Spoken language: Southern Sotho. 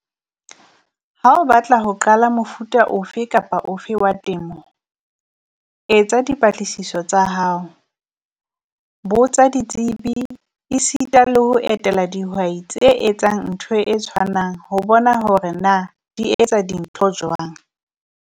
Ha o batla ho qala mofuta ofe kapa ofe wa temo, etsa dipatlisiso tsa hao, botsa ditsebi. E sita le ho etela dihwai tse etsang ntho e tshwanang ho bona hore na di etsa dintho jwang.